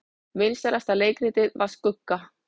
Vinsælasta leikritið var Skugga